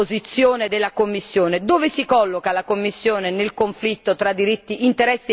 Dove si colloca la Commissione nel conflitto tra interessi economici e diritti fondamentali?